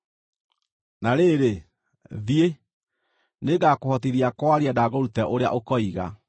Na rĩrĩ, thiĩ; nĩngakũhotithia kwaria na ngũrute ũrĩa ũkoiga.”